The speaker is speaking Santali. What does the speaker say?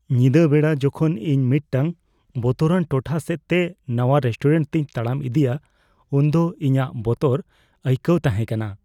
ᱧᱤᱫᱟᱹ ᱵᱮᱲᱟ ᱡᱚᱠᱷᱚᱱ ᱤᱧ ᱢᱤᱫᱴᱟᱝ ᱵᱚᱛᱚᱨᱟᱱ ᱴᱚᱴᱷᱟ ᱥᱮᱫᱛᱮ ᱱᱟᱣᱟ ᱨᱮᱥᱴᱩᱨᱮᱱᱴᱛᱮᱧ ᱛᱟᱲᱟᱢ ᱤᱫᱤᱭᱟ ᱩᱱᱫᱚ ᱤᱧᱟᱹᱜ ᱵᱚᱛᱚᱨ ᱟᱹᱭᱠᱟᱹᱣ ᱛᱟᱦᱮᱸ ᱠᱟᱱᱟ ᱾